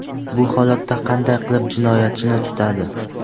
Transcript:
Bu holatda qanday qilib jinoyatchini tutadi?